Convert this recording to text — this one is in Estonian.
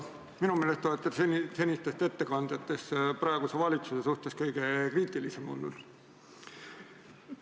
Minu meelest olete te senistest ettekandjatest praeguse valitsuse suhtes kõige kriitilisem olnud.